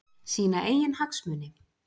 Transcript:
Sína eigin hagsmuni?